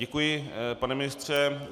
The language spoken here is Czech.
Děkuji, pane ministře.